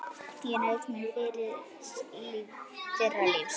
Ég naut míns fyrra lífs.